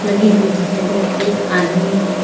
लगी हुई दिखाई दे रही है एक आदमी--